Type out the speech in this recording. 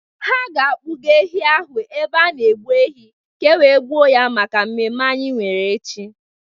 Ha ga-akpụga ehi ahụ n'ebe a na-egbu ehi ka e wee gbuo ya maka mmemme anyị nwere echi.